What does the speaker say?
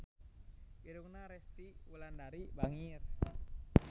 Irungna Resty Wulandari bangir